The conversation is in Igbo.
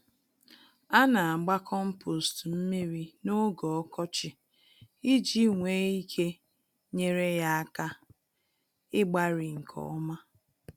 Anagba kompost mmírí n'oge ọkọchị iji nwee ike nyèrè ya áká, igbari nke ọma.